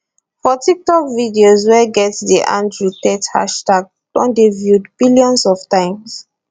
for tiktok videos wey get di andrew tate hashtag don dey viewed billions of times